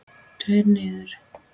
Tveir niður.